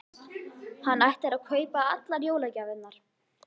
Hann ætlar að kaupa allar jólagjafirnar.